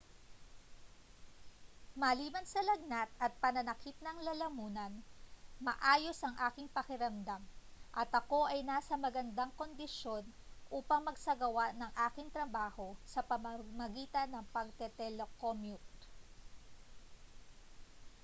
maliban sa lagnat at pananakit ng lalamunan maayos ang aking pakiramdam at ako ay nasa magandang kondisyon upang magsagawa ng aking trabaho sa pamamagitan ng pagte-telecommute